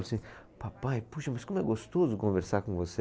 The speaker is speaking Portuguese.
Falei assim, papai, puxa, mas como é gostoso conversar com você.